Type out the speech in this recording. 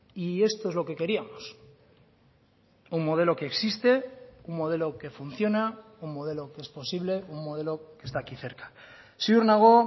y esto es lo que queríamos un modelo que existe un modelo que funciona un modelo que es posible un modelo que está aquí cerca ziur nago